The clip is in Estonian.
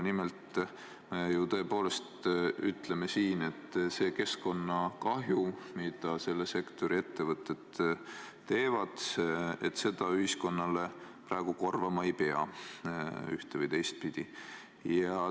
Nimelt, me ju tõepoolest ütleme siin, et seda keskkonnakahju, mida selle sektori ettevõtted tekitavad, ei pea ühiskonnale praegu ühte- või teistpidi korvama.